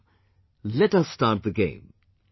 So; let us start the game